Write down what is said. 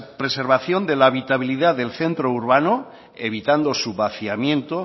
preservación de la habitabilidad del centro urbano evitando su vaciamiento